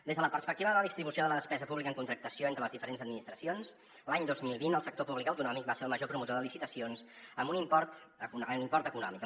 des de la perspectiva de la distribució de la despesa pública en contractació entre les diferents administracions l’any dos mil vint el sector públic autonòmic va ser el major promotor de licitacions amb un import en import econòmic